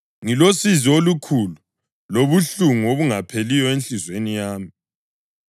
Ngilosizi olukhulu lobuhlungu obungapheliyo enhliziyweni yami.